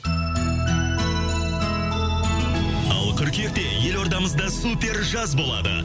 ал қыркүйекте елордамыз да супер жаз болады